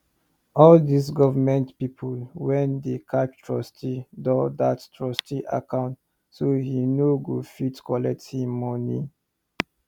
all these government people wen dey catch trustee doh that trustee account so he nor go fit collect he money